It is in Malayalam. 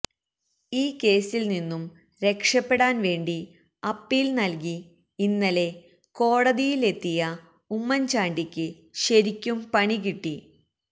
ഈ കേസിൽ നിന്നും രക്ഷപെടാൻ വേണ്ടി അപ്പീൽ നൽകി ഇന്നലെ കോടതിയിൽ എത്തിയ ഉമ്മൻ ചാണ്ടിക്ക് ശരിക്കും പണികിട്ടി